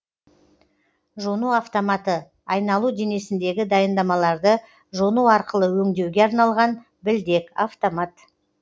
жону автоматы айналу денесіндегі дайындамаларды жону арқылы өңдеуге арналған білдек автомат